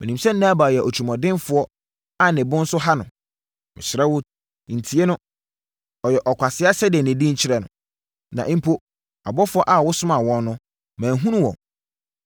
Menim sɛ Nabal yɛ otirimuɔdenfoɔ a ne bo nso ha no; mesrɛ wo, ntie no. Ɔyɛ ɔkwasea sɛdeɛ ne din kyerɛ no. Na mpo, abɔfoɔ a wosomaa wɔn no, manhunu wɔn.